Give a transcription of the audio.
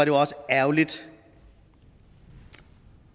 jo også ærgerligt